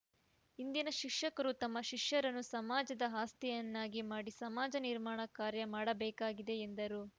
ಇಂದಿನ ಶಿಕ್ಷಕರೂ ತಮ್ಮ ಶಿಷ್ಯರನ್ನು ಸಮಾಜದ ಆಸ್ತಿಯನ್ನಾಗಿ ಮಾಡಿ ಸಮಾಜ ನಿರ್ಮಾಣ ಕಾರ್ಯ ಮಾಡಬೇಕಾಗಿದೆ ಎಂದರು